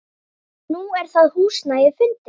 Nú er það húsnæði fundið.